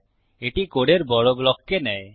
এটি কোডের বড় ব্লককে নেয়